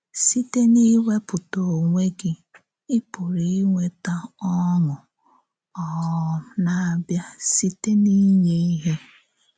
Sị̀tè n’ìwépụ̀tà onwé gị, ị pùrụ̀ ínwètà ọ́ṅụ um na-abìá sị̀tè n’ìǹyé íhè.